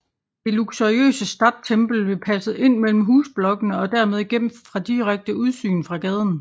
Det luxuriøse Stadttempel blev passet ind mellem husblokkene og dermed gemt fra direkte udsyn fra gaden